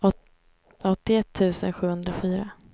åttioett tusen sjuhundrafyra